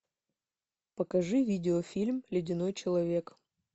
покажи видеофильм ледяной человек